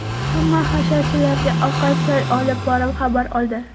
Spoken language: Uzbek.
Hamma hasharchilarga ovqat-choy olib borib xabar oldi.